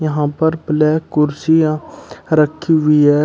यहां पर ब्लैक कुर्सियां रखी हुई है।